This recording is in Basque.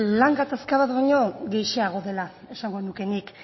lan gatazka bat baino gehiago dela esango nuke nik